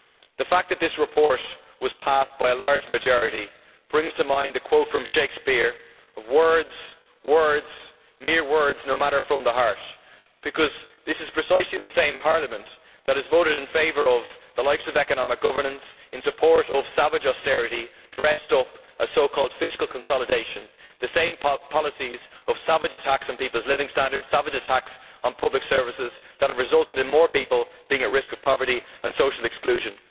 The fact that this report was passed by a large majority brings to mind the quote from Shakespeare, words, words, mere words, no matter from the heart'. This is precisely the same Parliament that has voted in favour of the likes of economic governance, in support of savage austerity dressed up as so called fiscal consolidation the same policies of savage attacks on people's living standards, savage attacks on public services that have resulted in more people being at risk of poverty and social exclusion.